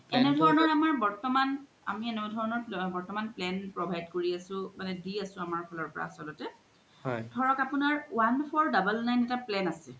আমাৰ বৰ্তমান আমি এনে ধৰনৰ plan বৰ্তমান plan provide কৰি আছো মানে দি আছো আমাৰ ফালৰ পৰা আচ্ল্তে মানে ধৰক আপুনাৰ one four double nine ৰ plan এতা আছে